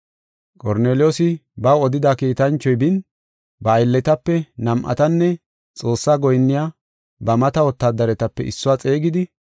Qorneliyoosi baw odida kiitanchoy bin, ba aylletape nam7atanne Xoossaa goyinniya ba mata wotaadaretape issuwa xeegidi,